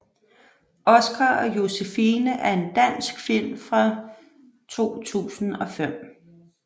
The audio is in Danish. Oskar og Josefine er en dansk film fra 2005